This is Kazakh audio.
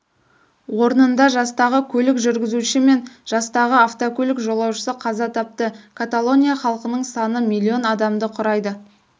орнында жастағы көлік жүргізушісі мен жастағы автокөлік жолаушысы қаза тапты каталония халқының саны миллион адамды құрайды